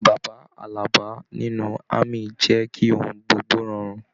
Bàbá Àlàbá nínú ámì jẹ kí ohùn gbogbo rọrùn.